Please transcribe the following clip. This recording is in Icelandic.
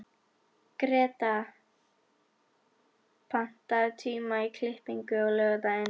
Greta, pantaðu tíma í klippingu á laugardaginn.